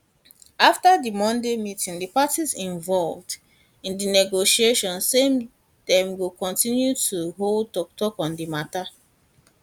afta di monday meeting di parties involved in di negotiation say dem go kontinu to hold toktok on di mata